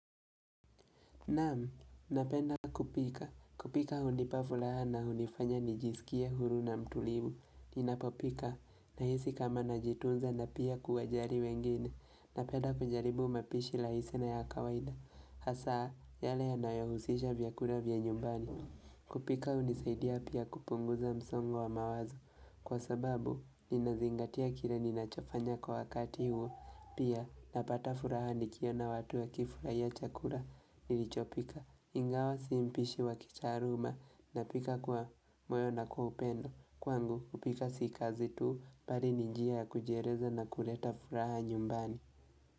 Naam, napenda kupika. Kupika hunipa fulaha na hunifanya nijisikie huru na mtulivu. Ninapopika, nahisi kama najitunza na pia kuwajari wengine. Napenda kujaribu mapishi rahisi na ya kawaida. Hasa, yale yanayo husisha vyakula vya nyumbani. Kupika hunisaidia pia kupunguza msongo wa mawazo. Kwa sababu, ninazingatia kire ninachafanya kwa wakati huo. Pia napata furaha nikiona watu wakifurahia chakura nilichopika Ingawa si mpishi wa kitaaruma na pika kwa moyo na kwa upendo. Kwangu kupika si kazi tu bari ni njia ya kujiereza na kuleta furaha nyumbani.